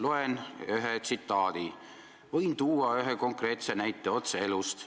Loen ette ühe tsitaadi: "Võin tuua konkreetse näite otse elust.